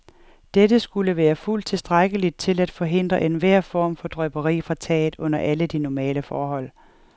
Dette skulle være fuldt tilstrækkeligt til at forhindre enhver form for drypperi fra taget under alle normale forhold.